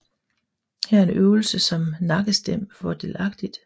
Her er en øvelse som nakkestem fordelagtig